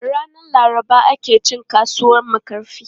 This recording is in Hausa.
Ranan Laraba ake cin kasuwan Makarfi.